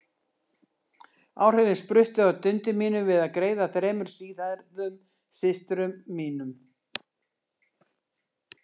Áhrifin spruttu af dundi mínu við að greiða þremur síðhærðum systrum mínum.